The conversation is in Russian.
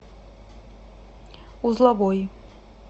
узловой